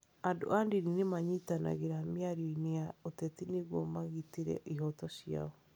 Andũ a ndini nĩ manyitanagĩra mĩario-inĩ ya ũteti nĩguo magitĩre ihooto ciao.